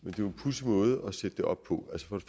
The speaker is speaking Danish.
er jo en pudsig måde at sætte det op på